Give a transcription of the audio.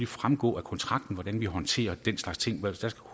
fremgå af kontrakten hvordan vi håndterer den slags ting der skal